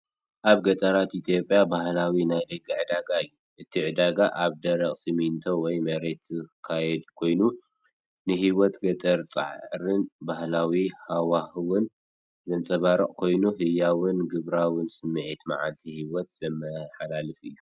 ኣብ ገጠራት ኢትዮጵያ ባህላዊ ናይ ደገ ዕዳጋ እዩ። እቲ ዕዳጋ ኣብ ደረቕ ሲሚንቶ ወይ መሬት ዝካየድ ኮይኑ፡ ንህይወት ገጠርን ጻዕርን ባህላዊ ሃዋህውን ዘንጸባርቕ ኮይኑ፡ ህያውን ግብራውን ስምዒት መዓልታዊ ህይወት ዘመሓላልፍ እዩ።